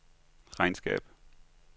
regnskab